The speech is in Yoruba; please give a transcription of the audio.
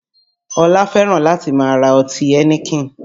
Ọlá fẹ́ràn láti máa ra ọtí Heineken